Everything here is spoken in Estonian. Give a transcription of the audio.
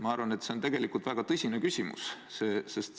Ma arvan, et see on tegelikult väga tõsine küsimus.